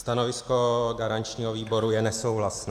Stanovisko garančního výboru je nesouhlasné.